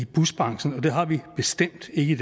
busbranchen og det har vi bestemt ikke i